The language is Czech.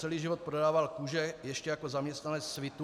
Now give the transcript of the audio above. Celý život prodával kůže ještě jako zaměstnanec Svitu.